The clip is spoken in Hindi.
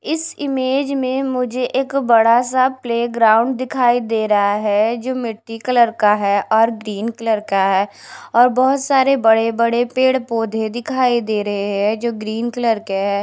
इस इमेज में मुझे एक बड़ा सा प्लेग्राउंड दिखाई दे रहा है जो मिट्टी कलर का है और ग्रीन कलर का है और बहोत सारे बड़े बड़े पेड़ पौधे दिखाई दे रहे हैं जो ग्रीन कलर के है।